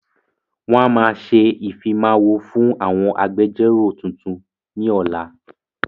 Wọn máa ṣe ìfimawo fún àwọn agbẹjọ́ró tuntun ni ọ̀la.